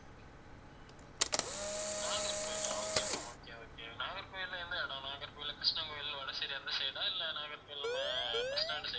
நாகர்கோயிலா okay ma'am okay okay நாகர்கோயில்ல எந்த இடம் நாகர்கோயில்ல கிரிஷ்ணண் கோயில் வடசேரி அந்த side ஆ இல்ல நாகர்கோயில் நம்ம bus stand side ஆ